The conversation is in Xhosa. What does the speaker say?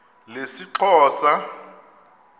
lesixhosa